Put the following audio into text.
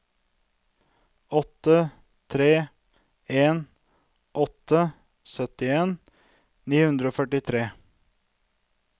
åtte tre en åtte syttien ni hundre og førtitre